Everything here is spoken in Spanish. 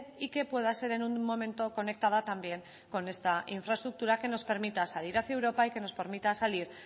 y que pueda ser en un momento conectada también con esta infraestructura que nos permita salir hacia europa y que nos permita salir